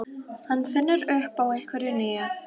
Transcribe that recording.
Hann finnur upp á einhverju nýju.